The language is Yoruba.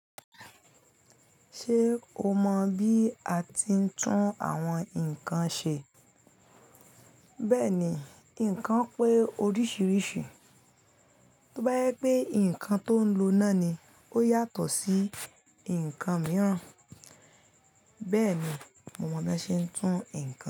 Ṣé o mọ bí a ti ń tún àwọn nǹkan ṣe? Bẹ́ẹ̀ni, nǹkan pé oríṣiríṣi. Tó bá yẹ pé nǹkan tó ń lo náà ni ó yàtọ̀ sí nǹkan mìíràn. Bẹ́ẹ̀ ni mo mọ bí a ṣe ń tún nǹkan ṣe.